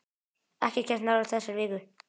Ekkert kemst nálægt þessari viku.